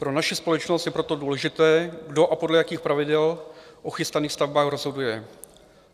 Pro naši společnost je proto důležité, kdo a podle jakých pravidel o chystaných stavbách rozhoduje."